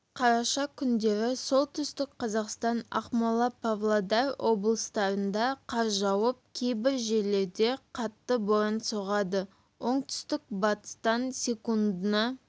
қараша күндері солтүстік қазақстан ақмола павлодар облыстарында қар жауып кейбір жерлерде қатты боран соғады оңтүстік-батыстан секундына